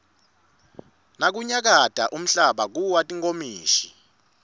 nakunyakata umhlaba kuwa tinkomishi